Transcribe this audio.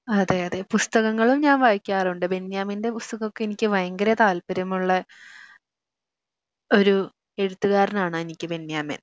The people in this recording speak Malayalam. അതെയതെ പുസ്തകങ്ങളും ഞാൻ വായിക്കാറുണ്ട് ബെന്യാമിൻ്റെ പുസ്തകം ഒക്കെ എനിക്ക് ഭയങ്കര താല്പര്യമുള്ള ഒരു എഴുത്തുകാരനാണ് എനിക്ക് ബെന്യാമിൻ